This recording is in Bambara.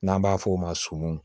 N'an b'a f'o ma sɔmun